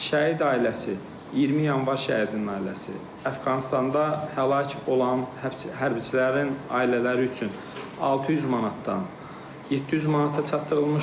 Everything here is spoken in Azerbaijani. Şəhid ailəsi, 20 Yanvar şəhidinin ailəsi, Əfqanıstanda həlak olan hərbçilərin ailələri üçün 600 manatdan 700 manata çatdırılmışdır.